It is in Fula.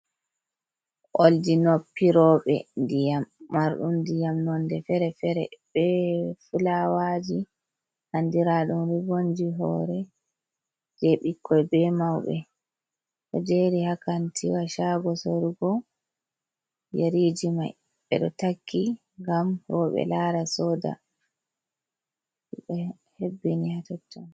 Oldi noppe roɓɓe ndiyam, mardum ndiyam nonde fere-fere be fulawaji andira ɗum ribonji hore je ɓikkoi be mauɓe, ɗo jeri ha kantiwa shago sorugo yeriji mai, ɓeɗo takki ngam roɓɓe lara soda, be hebbini ha toton.